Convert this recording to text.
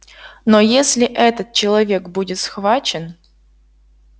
но если этот человек будет схвачен